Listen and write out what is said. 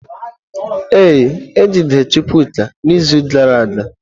Ee, ejidere Chukwuka n’izu gara aga.